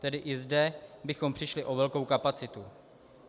Tedy i zde bychom přišli o velkou kapacitu.